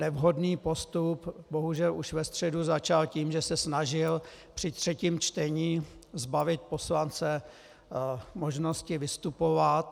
Nevhodný postup bohužel už ve středu začal tím, že se snažil při třetím čtení zbavit poslance možnosti vystupovat.